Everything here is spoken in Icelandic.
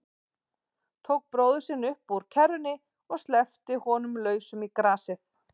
Tók bróður sinn upp úr kerrunni og sleppti honum lausum í grasið.